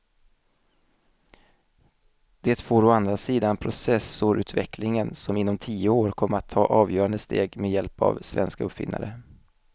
Det får å andra sidan processorutvecklingen som inom tio år kommer att ta avgörande steg med hjälp av svenska uppfinnare.